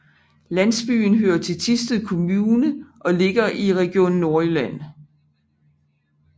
Landsbyen hører til Thisted Kommune og ligger i Region Nordjylland